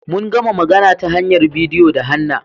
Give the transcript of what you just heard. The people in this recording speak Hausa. Mun gama magana ta hanyar bidiyo da Hannah.